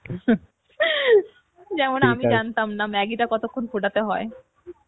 যেমন আমি জানতাম না maggi টা কতক্ষণ ফোটাতে হয়